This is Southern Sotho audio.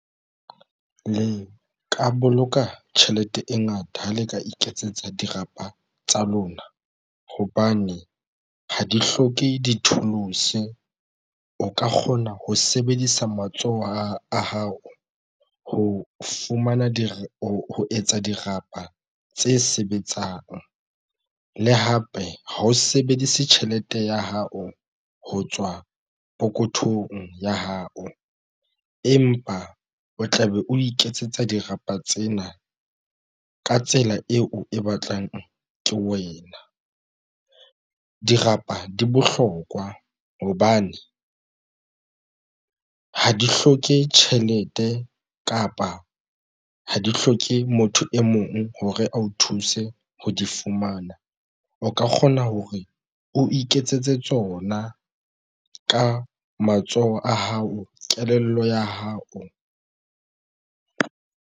Le ka boloka tjhelete e ngata ha le ka iketsetsa dirapa tsa lona hobane ha di hloke di-tools o ka kgona ho sebedisa matsoho a hao ho fumana dira ho etsa dirapa tse sebetsang le hape ha o sebedise tjhelete ya hao ho tswa pokothong ya hao, empa o tla be o iketsetsa dirapa tsena ka tsela eo e batlang ke wena. Dirapa di bohlokwa hobane ha di hloke tjhelete kapa ha di hloke motho e mong hore a o thuse ho di fumana. O ka kgona hore o iketsetse tsona ka matsoho a hao kelello ya hao.